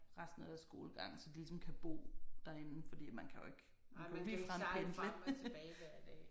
Resten af deres skolegang så de ligesom kan bo derinde fordi man kan jo ikke man kan jo ikke ligefrem pendle